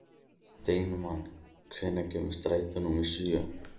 Steinmann, hvenær kemur strætó númer sjö?